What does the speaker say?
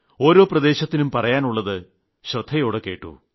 ഓരോ ദേശത്തിനും പറയാനുള്ളത് ശ്രദ്ധയോടെ കേട്ടു